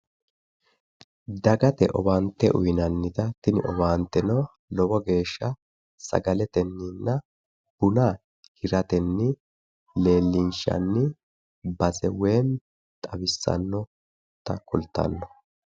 Dagate owaante uuyinannita, tini owaanteno lowo geeshsha sagaletenninna buna hiratenni leellinshanni base woyim xawissannota kultanno.